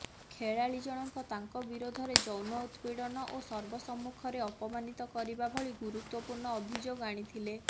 ଖେଳାଳୀଜଣକଙ୍କ ତାଙ୍କ ବିରୋଧରେ ଯୌନ ଉତ୍ପୀଡନ ଓ ସର୍ବ ସମ୍ମୁଖରେ ଅପମାନିତ କରିବା ଭଳି ଗୁରୁତ୍ୱପୂର୍ଣ୍ଣ ଅଭିଯୋଗ ଆଣିଥିଲେ